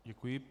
Děkuji.